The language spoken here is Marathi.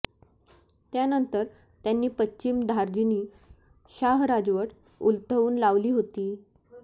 त्यानंतर त्यांनी पश्चिम धार्जिणी शाह राजवट उलथवून लावली होती